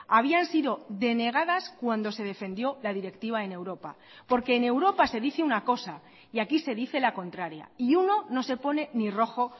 habían sido denegadas cuando se defendió la directiva en europa porque en europa se dice una cosa y aquí se dice la contraria y uno no se pone ni rojo